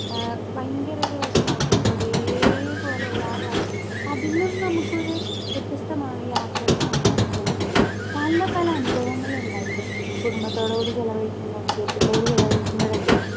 Speaker 2 ഏ ഭയങ്കരൊരു വെഷമായിരിക്കും ഇപ്പൊരേ പോലെ എല്ലാ പ്രാവശ്യം അതിനും നമുക്കൊരു വ്യത്യസ്തമാണ് യാത്രകൾ സമ്മാനിക്ക്ണത് പലപല അനുഭവങ്ങളുണ്ടായിരിക്കും കുടുംബത്തോടു കൂടി ചെലവഴിക്കുമ്പം സുഹൃത്തുക്കളോട് ചെലവഴിക്കുമ്പഴൊക്കെ.